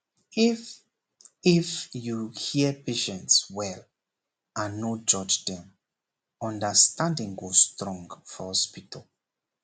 if if you hear patients well and no judge dem understanding go strong for hospital